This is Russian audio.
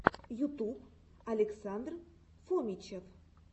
ютуб александр фомичев